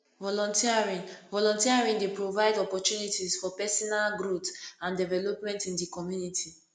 volunteering volunteering dey provide opportunties for pesinal growth and development in di community